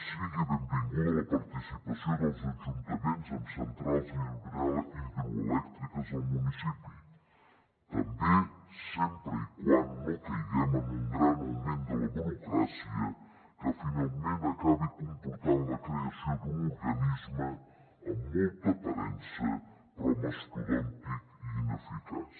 sigui benvinguda la participació dels ajuntaments en centrals hidroelèctriques al municipi també sempre que no caiguem en un gran augment de la burocràcia que finalment acabi comportant la creació d’un organisme amb molta aparença però mastodòntic i ineficaç